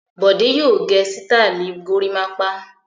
Bọ̀dé yóò gẹ sítáálì gorímápá.